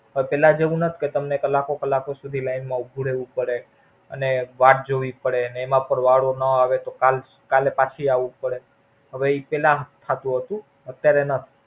હવે પેલા જેવું નથ કર તમને કલાકો કલાકો સુધી લાઈન માં ઉભું રેવું પડે. અને વાટ જોવી પડે ને એમાં પણ વારો ન આવે તો કાલ કાલે પાછી આવું પડે હવે એ પેલા થાતું હતું અત્યરે ન.